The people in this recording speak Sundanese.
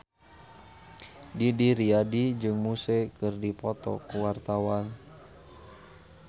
Didi Riyadi jeung Muse keur dipoto ku wartawan